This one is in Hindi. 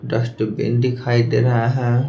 डस्टबिन दिखाई दे रहा है।